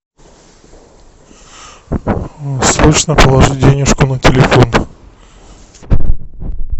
срочно положи денежку на телефон